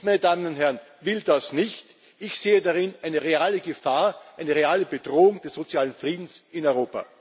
Ich, meine Damen und Herren, will das nicht, ich sehe darin eine reale Gefahr, eine reale Bedrohung des sozialen Friedens in Europa.